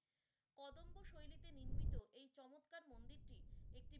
কদম্ব শৈলীতে নির্মিত এই চমৎকার মন্দিরটি একটি